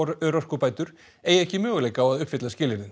örorkubætur eigi ekki möguleika á að uppfylla skilyrðin